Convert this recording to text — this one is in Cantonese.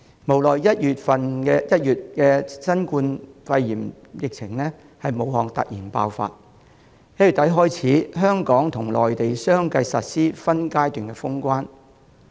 無奈新冠肺炎疫情於1月在武漢突然爆發，自1月底起，香港和內地相繼實施分階段封關。